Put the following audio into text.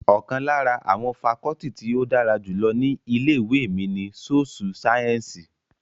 Ọ̀kan lára àwọn fakọọti tí ó dára jù lọ ní ilé ìwé mi ní sóṣú sáyẹ́ǹsì